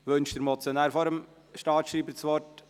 Wünscht der Motion das Wort vor dem Staatsschreiber?